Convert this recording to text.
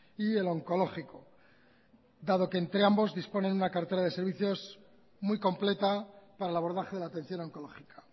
y el onkologiko dado que entre ambos disponen una cartera de servicios muy completa para el abordaje de la atención oncológica